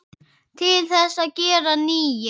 Til þess að gera nýir.